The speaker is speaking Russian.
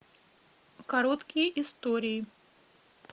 короткие истории